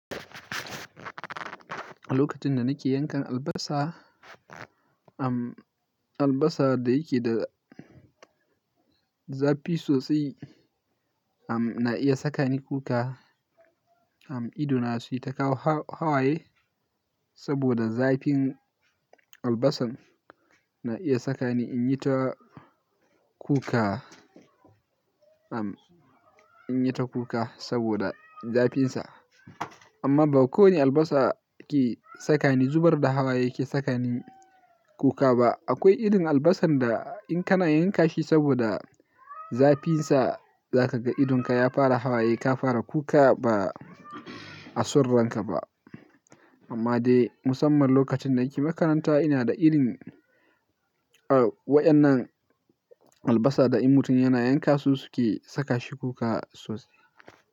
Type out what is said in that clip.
Lokacin da nake yankan albasa, albasa da yake da zafi sosai na iya sakani kuka. Am, idona sai ta kawo hawaye saboda zafin albasan na iya sakani in yi ta kuka, am, in yi ta kuka saboda zafinsa. Amma ba kowane albasa ke sakani zubar da hawaye, ke sakani kuka ba. Akwai irin albasan da in kana yanka shi saboda zafinsa, za ka ga idonka ya fara hawaye, ka fara kuka ba a soronka ba. Amma dai musamman lokacin da nake makaranta, ina da irin waɗannan albasa da in mutum yana yanka su suke saka shi kuka sosai.